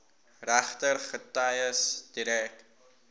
regter getuies direk